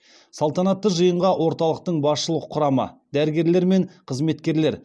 салтанатты жиынға орталықтың басшылық құрамы дәрігерлер мен қызметкерлер